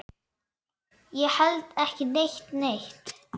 Ég held ekki neitt.